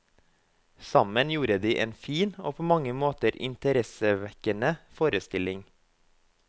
Sammen gjorde de en fin og på mange måter interessevekkende forestilling.